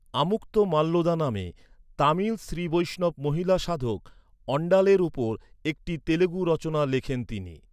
আমুক্তমাল্যদা নামে, তামিল শ্রী বৈষ্ণব মহিলা সাধক অণ্ডালের উপর একটি তেলুগু রচনা লেখেন তিনি।